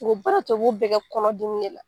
u bɛ baracogo bɛɛ kɛ kɔnɔdimi de la.